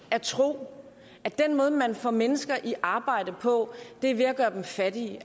at tro at den måde man får mennesker i arbejde på er ved at gøre dem fattige